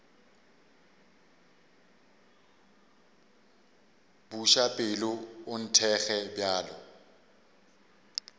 buša pelo o nthekge bjalo